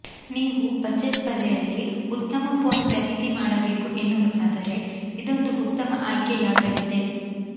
ನೀವು ಬಜೆಟ್ ಬೆಲೆಯಲ್ಲಿ ಉತ್ತಮ ಫೋನ್ ಖರೀದಿ ಮಾಡಬೇಕು ಎನ್ನುವುದಾದರೆ ಇದೊಂದು ಉತ್ತಮ ಆಯ್ಕೆಯಾಗಲಿದೆ